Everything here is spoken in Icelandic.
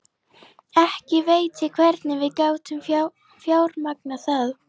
Ekki veit ég hvernig við gátum fjármagnað það.